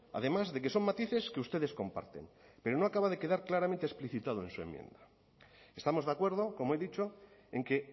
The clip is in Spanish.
además de que son matices que ustedes comparten pero no acaba de quedar claramente explicitado en su enmienda estamos de acuerdo como he dicho en que